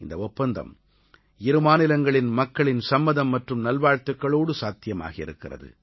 இந்த ஒப்பந்தம் இரு மாநிலங்களின் மக்களின் சம்மதம் மற்றும் நல்வாழ்த்துக்களோடு சாத்தியமாகி இருக்கிறது